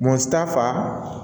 Muso ta fan